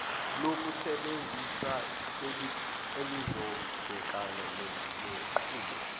lokusebenzisana elizobhekana nenqubo